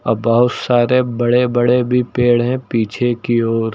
और बहोत सारे बड़े बड़े भी पेड़ है पीछे की ओर।